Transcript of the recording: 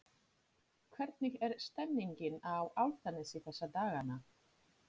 Hvernig er stemmningin á Álftanesi þessa dagana?